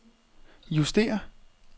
justér